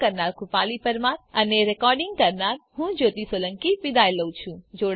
IIT Bombay તરફથી ભાષાંતર કરનાર હું કૃપાલી પરમાર વિદાય લઉં છું